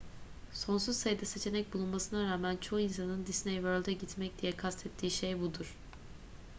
sonsuz sayıda seçenek bulunmasına rağmen çoğu insanın disney world'e gitmek diye kastettiği şey budur